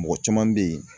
Mɔgɔ caman bɛ ye